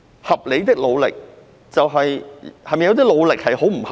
"合理的努力"是否表示有些努力不合理？